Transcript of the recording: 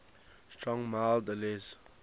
strong mild ales